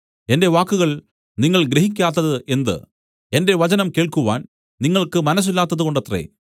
എന്റെ വാക്കുകൾ നിങ്ങൾ ഗ്രഹിക്കാത്തത് എന്ത് എന്റെ വചനം കേൾക്കുവാൻ നിങ്ങൾക്ക് മനസ്സില്ലാത്തതുകൊണ്ടത്രേ